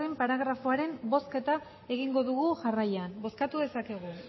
paragrafoaren bozketa egingo dugu jarraian bozkatu dezakegu